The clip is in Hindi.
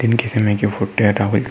दिन के समय के --